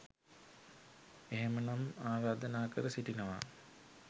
එහෙමනම් ආරාධනා කර සිටිනවා